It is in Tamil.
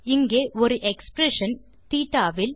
இங்கே ஒரு எக்ஸ்பிரஷன் தேட்ட இல்